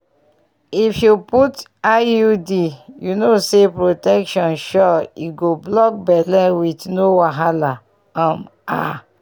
if you put iud you know say protection sure e go block belle with no wahala.um ah